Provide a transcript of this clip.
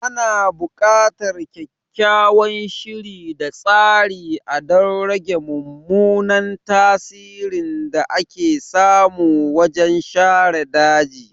Ana bukatar kyakkyawan shiri da tsari a don rage mummunan tasirin da ake samu wajen share daji.